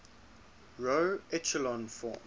row echelon form